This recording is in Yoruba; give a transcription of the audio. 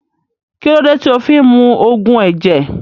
Kílódé tí o fí ń mu Ògùn ẹ̀jẹ̀